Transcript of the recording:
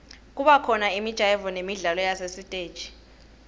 kubakhona imijayivo nemidlalo yasesitesi